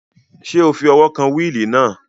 Ṣé o fi ọwọ́ kan wíìlì náà?